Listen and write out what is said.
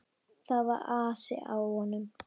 Það var asi á honum.